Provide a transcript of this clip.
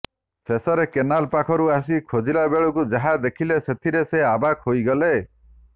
ଶେଷରେ କେନାଲ୍ ପାଖକୁ ଆସି ଖୋଜିଲା ବେଳକୁ ଯାହା ଦେଖିଲେ ସେଥିରେ ସେ ଅବାକ୍ ହୋଇଗଲେ